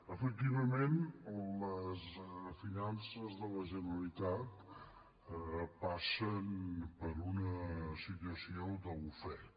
efectivament les finances de la generalitat passen per una situació d’ofec